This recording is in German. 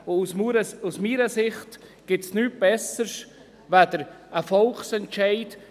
Aus meiner Sicht gibt es nichts Besseres als einen Volksentscheid.